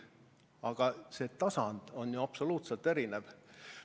Aga see tasand on ju absoluutselt erinev.